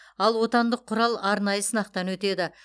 ал отандық құрал арнайы сынақтан өтеді